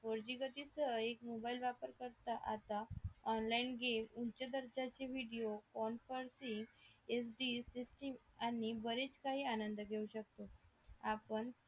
आपण four G गती सह एक मोबाईल वापर करता आता online game उंच दर्जाचे video conferencing F D system आणि बरेच काही आनंद घेऊ शकतो